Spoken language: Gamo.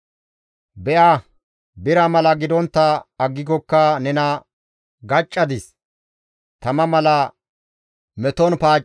Be7a bira mala gidontta aggikokka nena gaccadis; tama mala meton paaccadis;